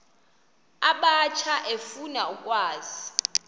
abatsha efuna ukwazi